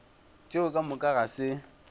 tšeo ka moka ga se